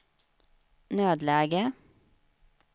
nödläge